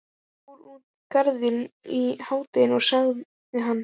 Ég fór út í Garðinn í hádeginu sagði hann.